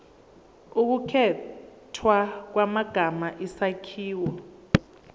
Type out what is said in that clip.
ukukhethwa kwamagama isakhiwo